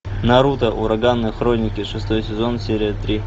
наруто ураганные хроники шестой сезон серия три